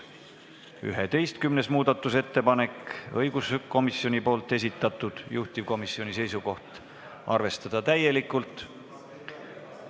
Ka 11. muudatusettepaneku on esitanud õiguskomisjon, juhtivkomisjoni seisukoht: arvestada seda täielikult.